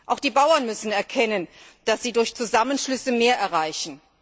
Auch die Bauern müssen erkennen, dass sie durch Zusammenschlüsse mehr erreichen.